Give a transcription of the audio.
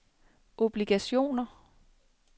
obligationer